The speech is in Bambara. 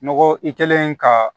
Nɔgɔ i kɛlen ka